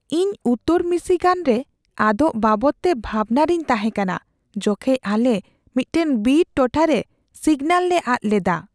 ᱤᱧ ᱩᱛᱛᱚᱨ ᱢᱤᱥᱤᱜᱟᱱ ᱨᱮ ᱟᱫᱚᱜ ᱵᱟᱵᱚᱫᱛᱮ ᱵᱷᱟᱵᱽᱱᱟ ᱨᱮᱧ ᱛᱟᱷᱮᱸ ᱠᱟᱱᱟ ᱡᱚᱠᱷᱮᱡ ᱟᱞᱮ ᱢᱤᱫᱴᱟᱝ ᱵᱤᱨ ᱴᱚᱴᱷᱟ ᱨᱮ ᱥᱤᱜᱱᱟᱞ ᱞᱮ ᱟᱫ ᱞᱮᱫᱟ ᱾